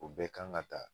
O bɛɛ kan ka ta